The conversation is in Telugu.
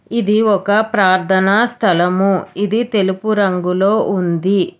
ఇది ఒక ప్రార్ధన స్థలము ఇది తెలుపు రంగులో ఉంది